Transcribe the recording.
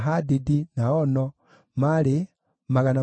na Reaia, na Rezini, na Nekoda,